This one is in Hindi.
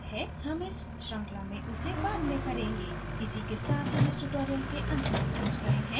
हम इस श्रृंखला में उसे बाद में करेंगे इसी के साथ हम tutorial के अंत में पहुँच गए हैं